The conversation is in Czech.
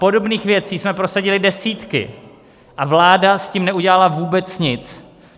Podobných věcí jsme prosadili desítky a vláda s tím neudělala vůbec nic.